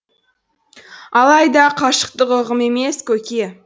алайда қашықтық ұғым емес көке